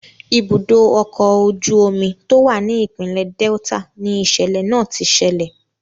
Ibùdó ọkọ̀ ojú omi tó wà ni ìpínlẹ̀ Delta ni ìṣẹ̀lẹ̀ náà ti ṣẹlẹ̀.